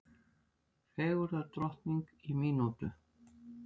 Fegurðardrottning í mínútu